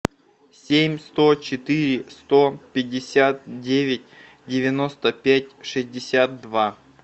семь сто четыре сто пятьдесят девять девяносто пять шестьдесят два